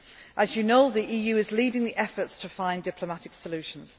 As you know, the EU is leading the efforts to find diplomatic